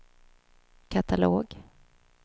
katalog